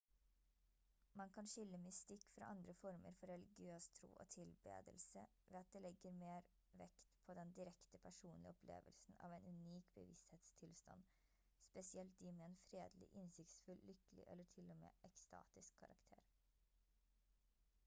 man kan skille mystikk fra andre former for religiøs tro og tilbedelse ved at det legger mer vekt på den direkte personlige opplevelsen av en unik bevissthetstilstand spesielt de med en fredelig innsiktsfull lykkelig eller til og med ekstatisk karakter